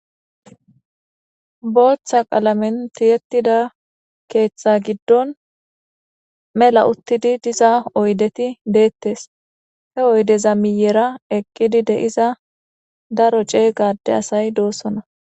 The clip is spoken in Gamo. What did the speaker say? Booththa qalamenti yettida keeththa giddon mela uttidi diza oydeti deettes he oydeza miyera eqqidi de7iza daro ceey gade asay doossona.